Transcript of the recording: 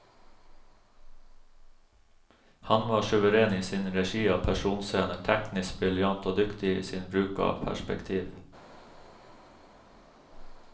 Han var suveren i sin regi av personscener, teknisk briljant og dyktig i sin bruk av perspektiv.